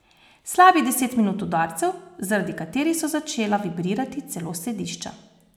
Slabih deset minut udarcev, zaradi katerih so začela vibrirati celo sedišča.